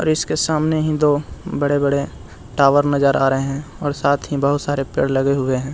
Bridge के सामने ही दो बड़े-बड़े टावर नजर आ रहे हैं साथ ही बहुत सारे पेड़ लगे हुए हैं।